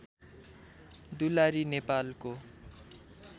दुलारी नेपालको